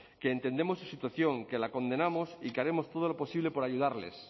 que entendemos su situación que la condenamos y que haremos todo lo posible por ayudarles